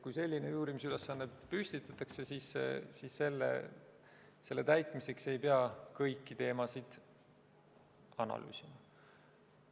Kui selline uurimisülesanne püstitatakse, siis selle täitmiseks ei pea kõiki teemasid analüüsima.